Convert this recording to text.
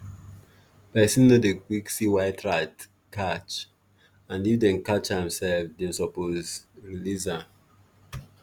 person o dey quick see white rat catch ad if dem catch am sef dem suppose release am